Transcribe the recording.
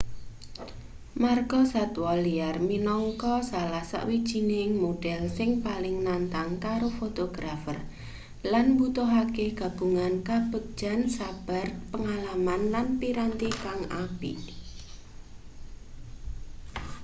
margasatwa liar minangka salah sawijining modhel sing paling nantang kanggo fotografer lan mbutuhake gabungan kabegjan sabar pangalaman lan piranti kang apik